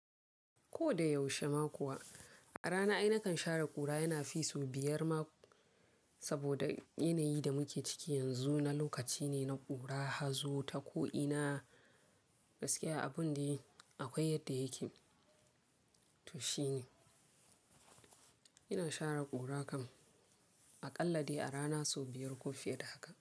Ko da yaushe ma kuwa, a rana ai na kan share ƙura yana fi sau biyar ma saboda yanayin da muke ciki yanzu na lokaci ne na ƙura, hazo, tako ina gaskiya abun dai akwai yadda yake to shine. Ina share ƙura kam a ƙalla dai a rana sau biyar ko fiye da haka.